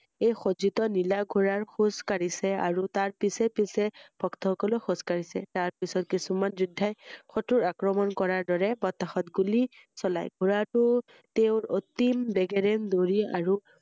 এই খজিত নীলা ঘোৰাৰ খোজ কাঢ়িছে আৰু তাৰ পিছে পিছে ভক্তসকলে খোজ কাঢ়িছে৷তাৰ পিছত কিছুমান যোদ্বাই শক্ৰক আক্ৰমণ কৰাৰ দৰে বতাহত গুলী চলায়৷ঘোৰাটো তেওঁৰ অতি বেগেৰে দৌৰি আৰু